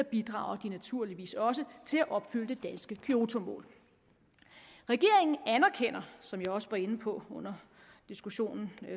bidrager de naturligvis også til at opfylde det danske kyotomål regeringen anerkender som jeg også var inde på under diskussionen